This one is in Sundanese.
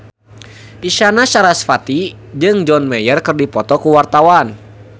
Isyana Sarasvati jeung John Mayer keur dipoto ku wartawan